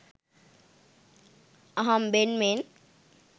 අහම්බෙන් මෙන්